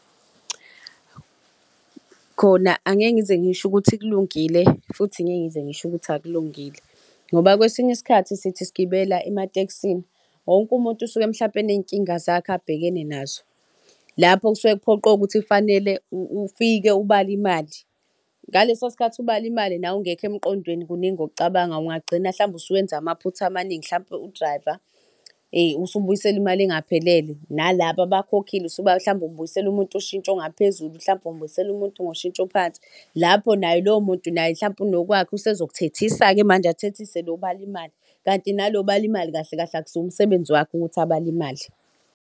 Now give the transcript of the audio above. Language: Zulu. Khona angeke ngize ngisho ukuthi kulungile futhi ngeke ngize ngisho ukuthi akulungile ngoba kwesinye isikhathi sithi sigibela ematekisini, wonke umuntu usuke mhlawumpe enezinkinga zakhe, abhekene nazo. Lapho kusuke kuphoqe ukuhthi kufanele ufike ubale imali ngaleso sikhathi ubale imali nawe ungekho emqondweni kuningi okucabangayo ungagcina mhlawumbe usuwenza amaphutha amaningi mhlawumpe u-driver usubuyisela imali engaphelele nalapha abakhokhi mhlawumbe ubuyisele umuntu ushintshi osungaphezulu, mhlawumpe umubuyisele umuntu ngoshintshi phansi. Lapho naye lowo muntu naye mhlawumpe unokwakhe usezokuthethisa-ke manje athethise lo obala imali, kanti nalo obala imali kahle kahle akusiwo umsebenzi wakhe ukuthi abale imali.